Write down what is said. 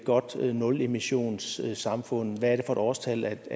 godt nulemissionssamfund hvad er et årstal